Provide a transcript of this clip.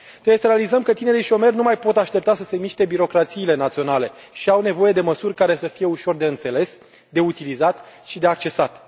Trebuie să realizăm că tinerii șomeri nu mai pot aștepta să se miște birocrațiile naționale și au nevoie de măsuri care să fie ușor de înțeles, de utilizat și de a accesat.